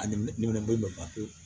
A nimɛnɛ ko bɛɛ ban pewu